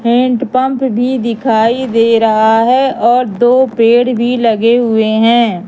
Hand pump भी दिखाई दे रहा है और दो पेड़ भी लगे हुए हैं।